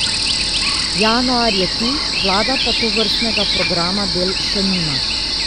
Januar je tu, vlada pa tovrstnega programa del še nima.